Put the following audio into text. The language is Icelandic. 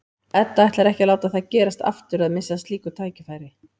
Edda ætlar ekki að láta það gerast aftur að missa af slíku tækifæri.